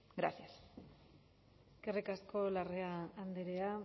gracias eskerrik asko larrea andrea